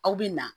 Aw bɛ na